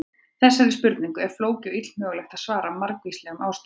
Þessari spurningu er flókið og illmögulegt að svara af margvíslegum ástæðum.